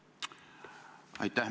Aitäh!